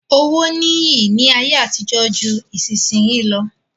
Owó ní iyì ní ayé àtijó ju ìsinsìnyí lọ.